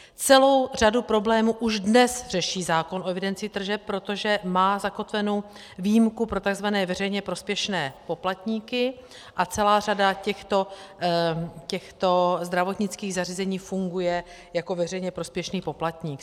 Celou řadu problémů už dnes řeší zákon o evidenci tržeb, protože má zakotvenu výjimku pro tzv. veřejně prospěšné poplatníky a celá řada těchto zdravotnických zařízení funguje jako veřejně prospěšný poplatník.